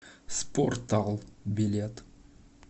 спортал билет